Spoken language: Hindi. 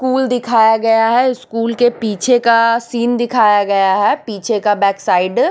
स्कूल दिखाया गया है स्कूल के पीछे का सीन दिखाया गया है पीछे का बैक साइड --